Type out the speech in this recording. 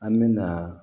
An mɛna